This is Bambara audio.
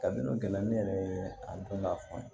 Kabini gɛlɛya ne yɛrɛ ye a don n'a fɔ ye